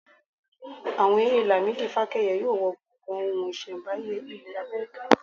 Àwọn èrè Lamidi fákẹ́yẹ yóò wọ gbọ̀gàn ohun iṣẹ́mbáyé ilẹ̀ Amẹ́ríkà.